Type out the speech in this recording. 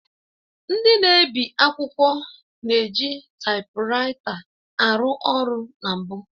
Ndị na-ebi akwụkwọ na-eji taịpuraịta arụ ọrụ na mbụ